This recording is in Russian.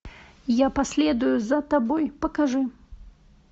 я последую за тобой покажи